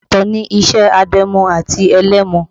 Ọ̀tọ̀ ni iṣẹ́ adẹ́mu àti ẹlẹ́mu